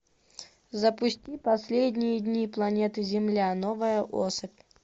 запусти последние дни планеты земля новая особь